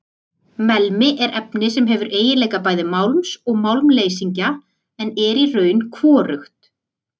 Melmi er efni sem hefur eiginleika bæði málms og málmleysingja en er í raun hvorugt.